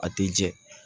A tɛ jɛ